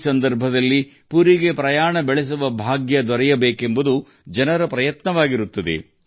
ಈ ಸಂದರ್ಭದಲ್ಲಿ ಪುರಿಗೆ ಹೋಗುವ ಸೌಭಾಗ್ಯ ಅದೃಷ್ಟ ಲಭಿಸುವಂತೆ ಮಾಡಲು ಜನರು ಬಹಳ ಪ್ರಯತ್ನಗಳನ್ನು ಮಾಡುತ್ತಾರೆ